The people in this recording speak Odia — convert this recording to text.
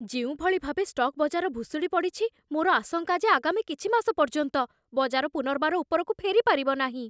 ଯେଉଁଭଳି ଭାବେ ଷ୍ଟକ୍ ବଜାର ଭୁଶୁଡ଼ି ପଡ଼ିଛି, ମୋର ଆଶଙ୍କା ଯେ ଆଗାମୀ କିଛି ମାସ ପର୍ଯ୍ୟନ୍ତ ବଜାର ପୁନର୍ବାର ଉପରକୁ ଫେରିପାରିବ ନାହିଁ।